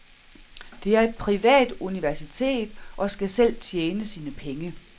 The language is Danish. Det er et privat universitet og skal selv tjene sine penge.